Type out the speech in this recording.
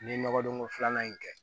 N ye nɔgɔ don ko filanan in kɛ